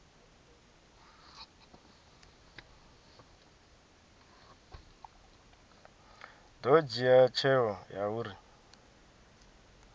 ḓo dzhia tsheo ya uri